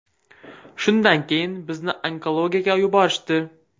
Shundan keyin bizni onkologiyaga yuborishdi.